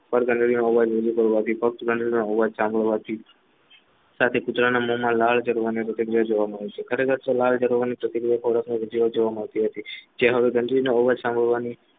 સાથે કુતરાના મોમા લાડ દડવાની પ્રતિક્રિયા જોવા મળે છે ખરેખર તો લાળ કરવાની પ્રતિક્રિયા જોવા મળતી હતી તે હવે